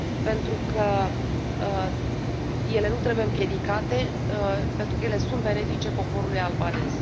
pentru că ele nu trebuie împiedicate, pentru că ele sunt benefice poporului albanez.